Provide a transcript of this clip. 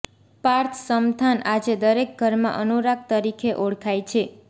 પાર્થ સમથાન આજે દરેક ઘરમાં અનુરાગ તરીકે ઓળખાય છે